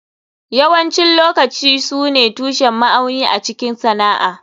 Yawancin lokaci su ne tushen ma'auni a cikin sana'a.